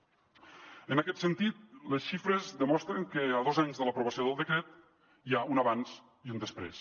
en aquest sentit les xifres demostren que a dos anys de l’aprovació del decret hi ha un abans i un després